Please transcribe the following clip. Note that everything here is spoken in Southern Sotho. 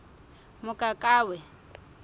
mokakawe